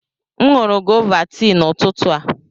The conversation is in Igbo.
M nụrụ gọva tii n'ụtụtụ a.